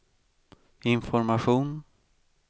information